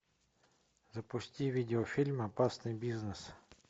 запусти видеофильм опасный бизнес